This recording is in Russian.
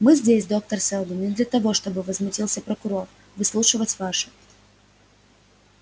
мы здесь доктор сэлдон не для того чтобы возмутился прокурор выслушивать ваши